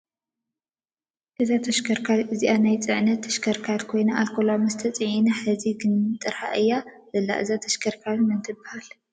እዛ ተሽካርካሪት እዚኣ ናይ ፅዕነት ተሽከርካሪት ኮይና ኣልኮላዊ መስተ ፂዒና ሕዚ ግና ጥራሓ እያ ዘላ:: እዛ ተሽከርካሪት መን ትበሃል ?